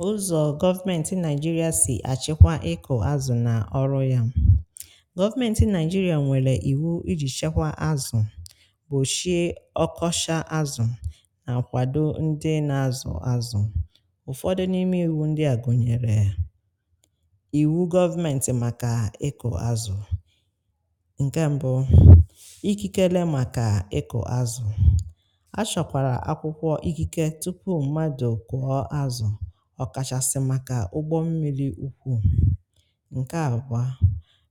Ụzọ̀ government Nigeria si achịkwa ịkụ̀ azụ̀ na ọrụ ya. Government Nigeria nwere iwu iji shekwa azụ̀, gboshie ọkọshá azụ̀, na kwado ndị na-azụ azụ̀. Ụfọdụ n’ime iwu ndị a gụnyeree; iwu government makà a ịkụ̀ azụ̀. Nke mbụ, ikikele makà a ịkụ̀ azụ̀. A shọkwara akwụkwọ ikike tupu mmadụ kụọ́ azụ, ọ̀kàshàsị̀ màkà ụgbọ mmili ukwuù. Ǹkè àbụ̀a,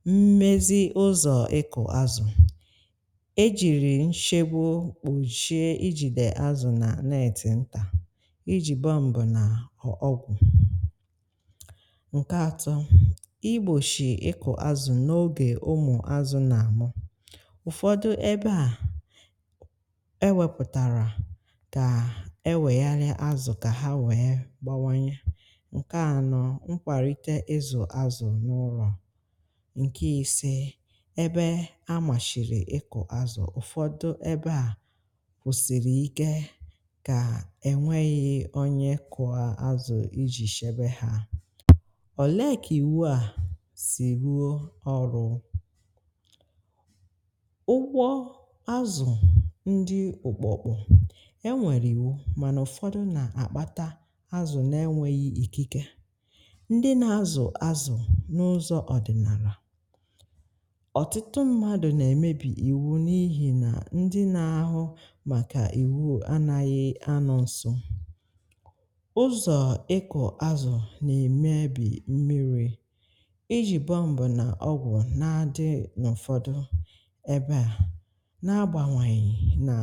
mmezi ụzọ̀ ịkụ̀ azụ̀, e jìrì nshebu kpushie i jìdè azụ̀ nà neetì ntà, i jì bomb nà ọgwụ̀. Nkè atọ̀, igbòshì ịkụ̀ azụ̀ n’ogè ụmụ̀ azụ̀ nà àmụ. Ụ̀fọ̀dụ ebé à, é wēpụ̀tàrà ka eweghalịa azụ ka ha wee gbáwányé. Ǹkè anọ, Mkwàrite ịzụ̀ azụ̀ n’ụrọ̀. Ǹkè ise, ebe amàshìlì ịkụ̀ azụ̀, ụ̀fọdụ ebe a kwụsìlì ike kà ènwėghi onye kụọ́ azụ̀ iji shebe ha. Olee kà ìwu à sì luo ọrụ? Ụgwọ azụ̀ ndị ụkpụ̀kpụ̀. E nwere iwu mànà ụfọdụ na-akpata azụ̀ n'enwéghi íkíké. Ndị na-azụ̀ azụ̀ n’ụzọ̀ ọdị̀nàlà, ọtụtụ mmadụ̀ nà-èmebì iwu n’ihì na ndị na-ahụ màkà iwu anaghị ánọ̀ nsó. Ụzọ̀ ịkụ̀ azụ̀ na-emebì mmiri. Íjī bomb nà ọgwụ̀ na-adị n’ụ̀fọdụ ebe à, na-agbanweghi nà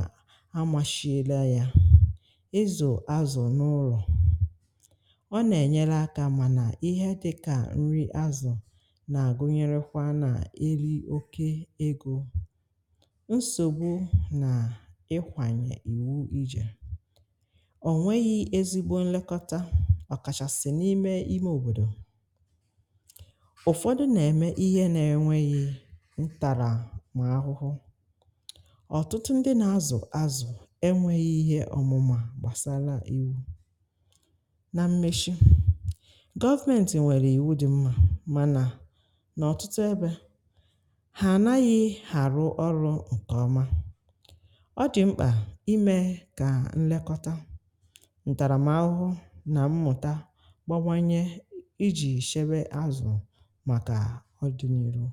amashiela ya. Ịzụ̀ azụ n'ụlọ, ọ nà-ènyere áká mànà ihe dịkà nrị azụ̀ nà-agụnyerékwá nà írī oké égō. Nsògbú nà ịkwànyè ìwu ijè. Ọ̀nweghị ezigbo nlekọta, ọ̀kàshàsị̀ n’ime ímé òbòdò. Ụ̀fọdụ nà-èmé ihe n'enweghị ntàrà m̀ ahụhụ. Ọtụtụ ndị nà-azụ̀ azụ̀ enweghị ihe ọ̀mụmá gbàsara ìwú. Na mmeshi, government nwèrè iwu dị́ mmȧ mànà n’ọ̀tụtụ ebé, hà ànaghị̇ hárụ̀ ọrụ̇ǹkèọma. Ọ dị̀ mkpà imė kà nlekọta, ǹtàràmaahụhụ nà mmụ̀ta gbawanye iji̇ shéwé àzụ̀ màkà ọdịniirú.